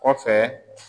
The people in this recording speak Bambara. Kɔfɛ